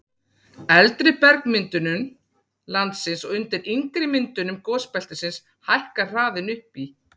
eldri bergmyndunum landsins og undir yngri myndunum gosbeltisins hækkar hraðinn upp í